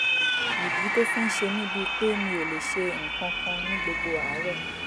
ìdí tó fi ń ṣe mí bíi pé mi ò lè ṣe nǹkan kan ní gbogbo àárọ̀